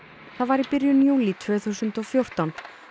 í byrjun júlí tvö þúsund og fjórtán